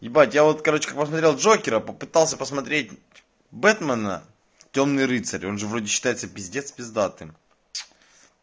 ебать я вот короче посмотрел джокера попытался посмотреть бэтмена тёмный рыцарь он же вроде считается пиздец пиздатым